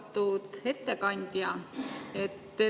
Austatud ettekandja!